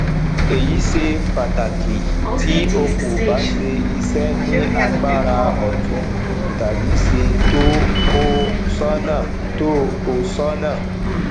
eyi ṣe pàtàki tí ó kó bá ṣe iṣẹ ni agbára otun tàbí ṣe tó o sónà tó o sónà